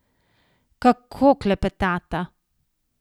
Kako klepetata!